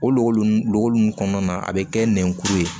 O lɔgɔ nun kɔnɔna na a bɛ kɛ nɛnkuru ye